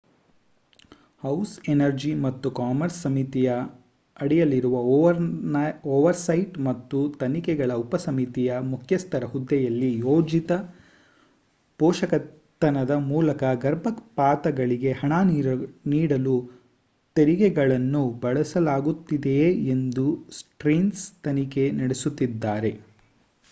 house energy ಮತ್ತು commerce ಸಮಿತಿಯ ಅಡಿಯಲ್ಲಿರುವ ಓವರ್‌ಸೈಟ್ ಮತ್ತು ತನಿಖೆಗಳ ಉಪಸಮಿತಿಯ ಮುಖ್ಯಸ್ಥರ ಹುದ್ದೆಯಲ್ಲಿ ಯೋಜಿತ ಪೋಷಕತನದ ಮೂಲಕ ಗರ್ಭಪಾತಗಳಿಗೆ ಹಣ ನೀಡಲು ತೆರಿಗೆಗಳನ್ನು ಬಳಸಲಾಗುತ್ತಿದೆಯೇ ಎಂದು ಸ್ಟೀರ್ನ್ಸ್‌ ತನಿಖೆ ನಡೆಸುತ್ತಿದ್ದಾರೆ